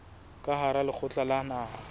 ka hara lekgotla la naha